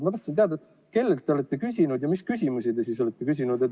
Ma tahan teada, kellelt te olete küsinud ja mis küsimusi te olete küsinud.